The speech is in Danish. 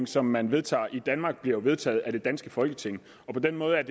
som man vedtager i danmark bliver jo vedtaget af det danske folketing på den måde er